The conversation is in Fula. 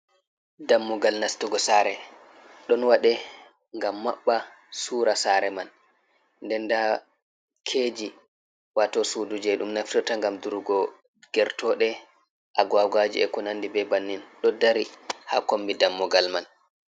Dammugal nastugo sare ɗon waɗe gam maɓɓa sura sare man. Nden nda keji wato sudu je dum naftirta ngam durgo gertoɗe, agwagwaji, e kunandi be bannin do dari ha kombi dammugal man.